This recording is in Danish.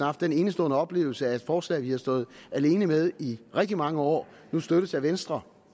haft den enestående oplevelse at et forslag vi har stået alene med i rigtig mange år støttes af venstre